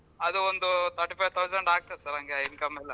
ಅದು ಒಂದು thirty five thousand ಆಗ್ತದೆ sir ಹಂಗೆ income ಎಲ್ಲಾ.